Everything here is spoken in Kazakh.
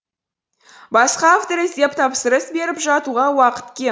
басқа автор іздеп тапсырыс беріп жатуға уақыт кем